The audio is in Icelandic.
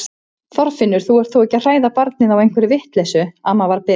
Þorfinnur, þú ert þó ekki að hræða barnið á einhverri vitleysu amma var byrst.